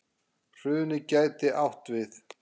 Hrunið gæti átt við